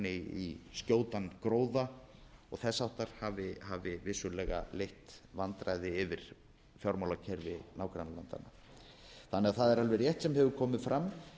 í skjótan gróða og þess háttar hafi vissulega leitt vandræði yfir fjármálakerfi nágrannalandanna það er alveg rétt sem hefur komið fram